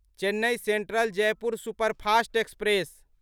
Chennai central Jaipur superfast express